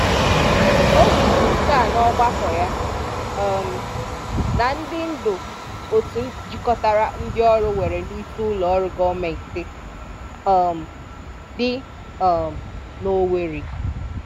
Ó kwúrú nke a n'ọ́gbákọ́ ya um na ndị́ ndú otu jikọtara ndị ọrụ nwere n'ísị́ Ụlọ́ Ọrụ́ Gọọmenti um dị um n'Ọwèrị.